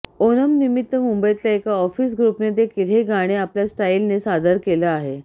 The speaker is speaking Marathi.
ओनमनिमित्त मुंबईतल्या एका ऑफिस ग्रुपने देखील हे गाणं आपल्या स्टाइलनं सादर केलं आहे